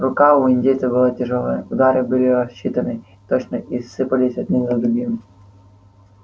рука у индейца была тяжёлая удары были рассчитаны точно и сыпались один за другим